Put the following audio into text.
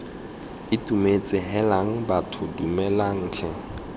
itumetse heelang bathong dumelang tlhe